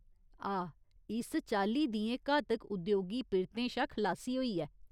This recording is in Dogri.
आह् ! एह् इस चाल्ली दियें घातक उद्योगी पिरतें शा खलासी होई ऐ।